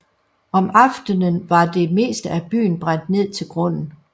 Om aftenen var det meste af byen brændt ned til grunden